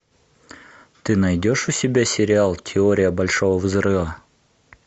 ты найдешь у себя сериал теория большого взрыва